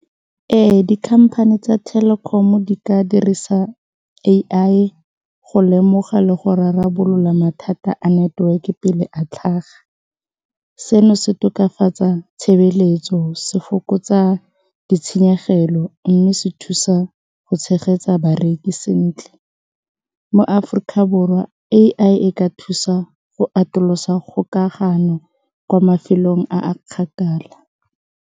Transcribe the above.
Ee, di-company tsa Telkom-o di ka dirisa A_I go lemoga le go rarabolola mathata a network-e pele a tlhaga, seno se tokafatsa tshebeletso se fokotsa ditshenyegelo mme se thusa go tshegetsa bareki sentle. Mo Aforika Borwa A_I ka thusa go atolosa kgokagano kwa mafelong a a kgakala.